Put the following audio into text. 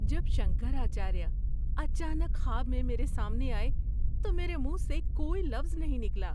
جب شنکراچاریہ اچانک خواب میں میرے سامنے آئے تو میرے منھ سے کوئی لفظ نہیں نکلا۔